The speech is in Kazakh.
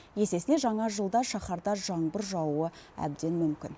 есесіне жаңа жылда шаһарда жаңбыр жаууы әбден мүмкін